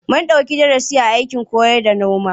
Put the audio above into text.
Mun ɗauki darasi a fannin aikin noma.